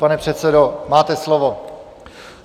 Pane předsedo, máte slovo.